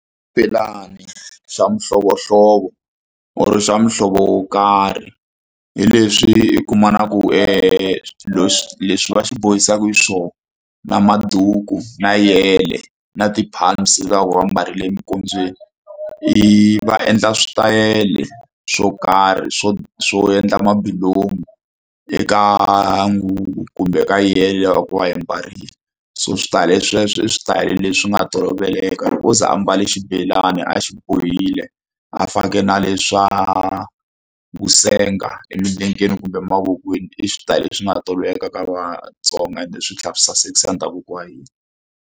Xibelani xa mihlovohlovo or swa muhlovo wo karhi hi leswi i kumaku leswi leswi va swi bohisaka xiswona na maduku na yele na ti-pumps leti va va ku ambarile eminkondzweni i va endla switayele swo karhi swo swo endla mabulomu eka nguvu kumbe ka yele loko va yi mbarile so switaleye sweswo i switayele leswi nga toloveleka loko o ze a mbale xibelani a xi bohile a fake na leswa vusenga emilengeni kumbe mavokweni i switayele leswi nga toloveleka ka Vatsonga ende swi tlhela swi sasekisa ndhavuko wa hina.